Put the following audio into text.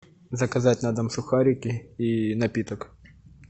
заказать на дом сухарики и напиток